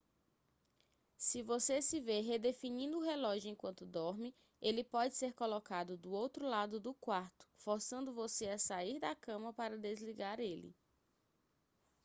se você se vê redefinindo o relógio enquanto dorme ele pode ser colocado do outro lado do quarto forçando você a sair da cama para desligar ele